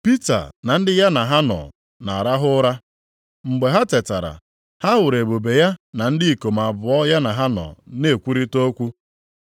Pita na ndị ya na ha nọ na-arahụ ụra. Mgbe ha tetara, ha hụrụ ebube ya na ndị ikom abụọ ya na ha nọ na-ekwurịta okwu.